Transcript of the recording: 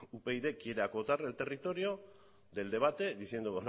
upyd quiere acotar el territorio del debate diciendo